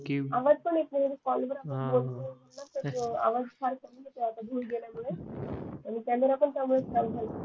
आणि कॅमेरा पण त्यामुळे